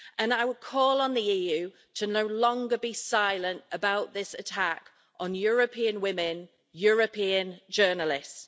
I would call on the EU no longer to be silent about this attack on European women, European journalists.